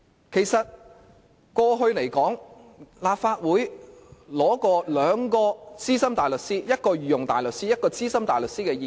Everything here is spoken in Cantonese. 其實過去立法會曾取得一位資深大律師，一位御用大律師的意見。